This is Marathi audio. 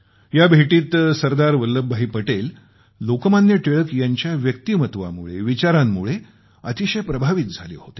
या भेटीत सरदार वल्लभ भाई पटेल लोकमान्य टिळक यांच्या व्यक्तिमत्वामुळे विचारांमुळे अतिशय प्रभावित झाले होते